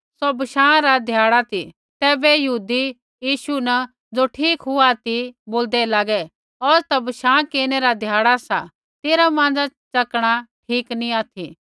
सौ बशाँ रा ध्याड़ा ती तैबै यहूदी यीशु न ज़ो ठीक हुआ ती बोलदै लागे औज़ ता बशाँ केरनै रा ध्याड़ा सा तेरा माँज़ा च़कणा ठीक नी ऑथि